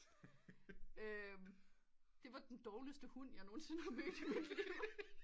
Det var den dårligeste hund jeg nogensinde har mødt i mit liv